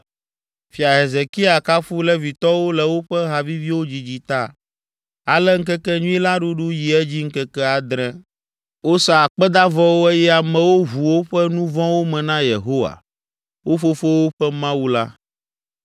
Fia Hezekia kafu Levitɔwo le woƒe ha viviwo dzidzi ta. Ale ŋkekenyui la ɖuɖu yi edzi ŋkeke adre. Wosa akpedavɔwo eye amewo ʋu woƒe nu vɔ̃wo me na Yehowa, wo fofowo ƒe Mawu la.